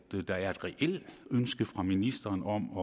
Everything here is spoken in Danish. der er et reelt ønske fra ministeren om